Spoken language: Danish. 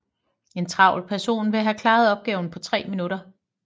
En travl person vil have klaret opgaven på tre minutter